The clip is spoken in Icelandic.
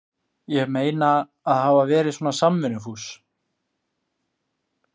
Ég meina, að hafa verið svona samvinnufús.